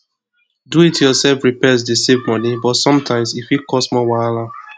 do it yourself repairs dey save money but sometimes e fit cause more wahala